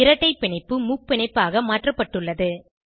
இரட்டை பிணைப்பு முப்பிணைப்பாக மாற்றப்பட்டுள்ளது